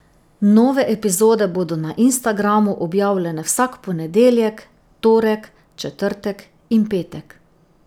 Nove epizode bodo na Instagramu objavljene vsak ponedeljek, torek, četrtek in petek.